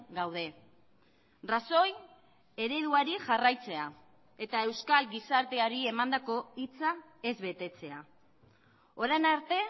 gaude rajoy ereduari jarraitzea eta euskal gizarteari emandako hitza ez betetzea orain arte